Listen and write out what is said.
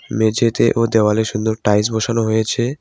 মেঝেতে ও দেওয়ালে সুন্দর টাইলস বসানো হয়েছে।